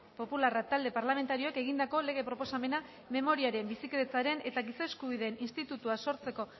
popularra talde parlamentarioek egindako lege proposamena memoriaren bizikidetzaren eta giza eskubideen institutua sortzeko